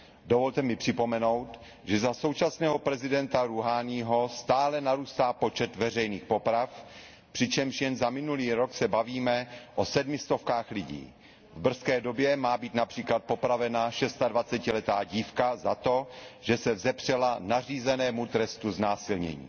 Dovolte mi připomenout, že za současného prezidenta Rúháního stále narůstá počet veřejných poprav, přičemž jen za minulý rok se bavíme o sedmi stovkách lidí. V brzké době má být například popravena šestadvacetiletá dívka za to, že se vzepřela nařízenému trestu znásilnění.